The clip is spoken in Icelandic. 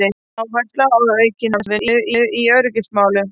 Áhersla á aukna samvinnu í öryggismálum